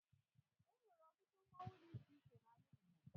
E nwere ọtụtụ mmonwu dị iche iche n'ala Igbo